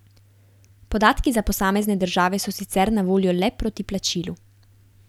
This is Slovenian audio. Podatki za posamezne države so sicer na voljo le proti plačilu.